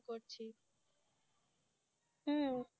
হু